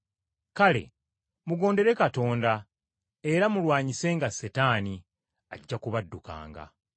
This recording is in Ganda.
Kale, mugondere Katonda era mulwanyisenga Setaani, ajja kubaddukanga.